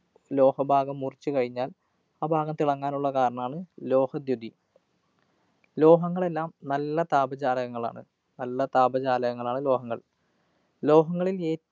ലോഹഭാഗം മുറിച്ചു കഴിഞ്ഞാല്‍ ആ ഭാഗം തിളങ്ങാനുള്ള കാരണാണ് ലോഹദ്യുതി. ലോഹങ്ങളെല്ലാം നല്ല താപചാലകങ്ങളാണ്. നല്ല താപചാലകങ്ങളാണ് ലോഹങ്ങള്‍. ലോഹങ്ങളില്‍ ഏ